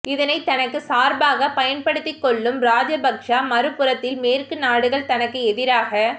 இதனை தனக்கு சார்பாகப் பயன்படுத்திக்கொள்ளும் ராஜபக்ச மறுபுறத்தில் மேற்கு நாடுகள் தனக்கு எதிராகச்